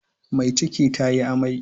Mai ciki tayi amai.